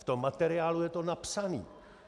V tom materiálu je to napsané.